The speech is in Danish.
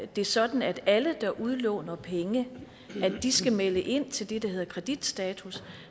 det sådan at alle der udlåner penge skal melde ind til det der hedder kreditstatus